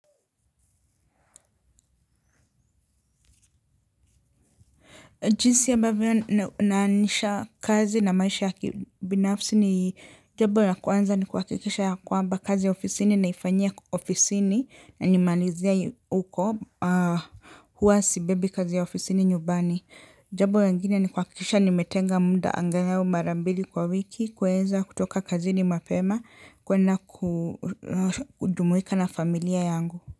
Jinsi ambavyo naanisha kazi na maisha ya kibinafsi ni jambo la kwanza ni kuhakikisha ya kwamba kazi ya ofisini naifanyia ofisini na nimalizia uko huwa sibebi kazi ya ofisini nyumbani. Jambo linginia ni kuhakikisha nimetenga muda angalau mara mbili kwa wiki kuenza kutoka kazini mapema kwenda kujumuika na familia yangu.